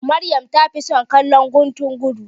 Maryam ta fi son kallon guntun gudu.